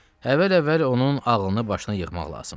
Əvvəl-əvvəl onun ağlını başına yığmaq lazımdır.